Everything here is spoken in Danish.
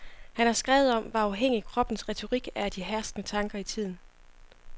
Han har skrevet om, hvor afhængig kroppens retorik er af de herskende tanker i tiden.